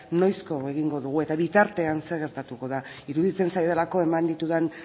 noizko egingo dugu eta bitartean zer gertatuko da iruditzen zaidalako eman ditudan